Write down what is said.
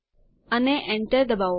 અને enter દબાવો